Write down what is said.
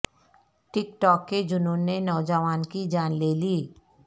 ٹک talk کے جنون نے نوجوان کی جان لے لی